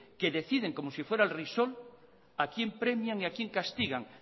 que deciden como si fuera el a quien premian y a quien castigan